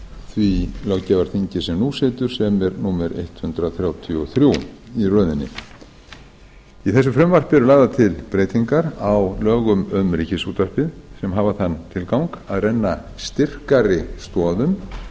því löggjafarþingi sem nú situr sem er númer hundrað þrjátíu og þrjú í röðinni í þessu frumvarpi eru lagðar til breytingar á lögum um ríkisútvarpið sem hafa þann tilgang að renna styrkari stoðum